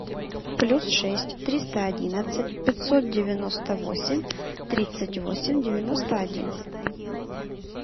плюс шесть триста одиннадцать пятьсот девяносто восемь тридцать восемь девяносто один